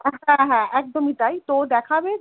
হ্যাঁ হ্যাঁ হ্যাঁ একদমই তাই তো দেখাবে